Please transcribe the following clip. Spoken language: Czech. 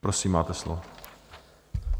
Prosím, máte slovo.